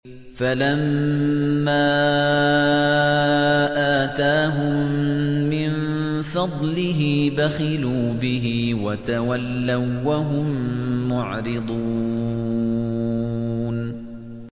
فَلَمَّا آتَاهُم مِّن فَضْلِهِ بَخِلُوا بِهِ وَتَوَلَّوا وَّهُم مُّعْرِضُونَ